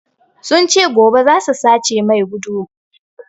Sun ce gobe zasu sace mai gudumar sa